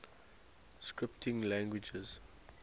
scripting languages